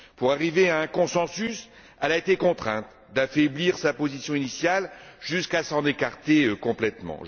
Pour arriver à un consensus, elle a été contrainte d'affaiblir sa position initiale, jusqu'à s'en écarter complètement.